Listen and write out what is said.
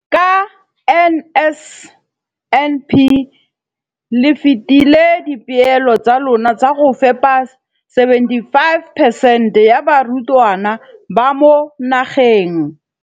Ka NSNP le fetile dipeelo tsa lona tsa go fepa masome a supa le botlhano a diperesente ya barutwana ba mo nageng.